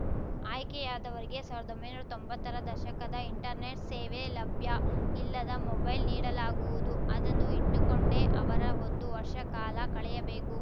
ಆಯ್ಕೆಯಾದವರಿಗೆ ಸಾವ್ರ್ದೊಂಬೈನೂರಾ ತೊಂಬತ್ತರ ದಶಕದ ಇಂಟರ್ನೆಟ್‌ ಸೇವೆ ಲಭ್ಯ ಇಲ್ಲದ ಮೊಬೈಲ್‌ ನೀಡಲಾಗುವುದು ಅದನ್ನು ಇಟ್ಟುಕೊಂಡೇ ಅವರ ಒಂದು ವರ್ಷ ಕಾಲ ಕಳೆಯಬೇಕು